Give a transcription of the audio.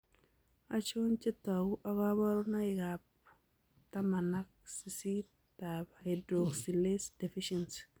Achon chetogu ak kaborunoik ab taman ak sisit ab hydroxylase deficiency